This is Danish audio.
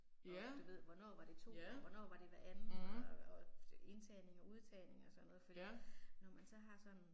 Og du ved hvornår var det 2 og hvornår var det hver anden og og indtagning og udtagning og sådan noget fordi når man så har sådan